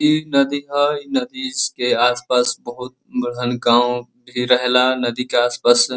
इ नदी ह। इ नदी से आस-पास बहोत बड़हन गाँव भी रहेला। नदी के आस-पास--